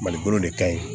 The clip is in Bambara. Malibolo de kaɲi